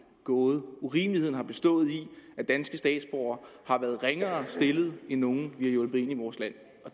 gåde urimeligheden har bestået i at danske statsborgere har været ringere stillet end nogle vi har hjulpet ind i vores land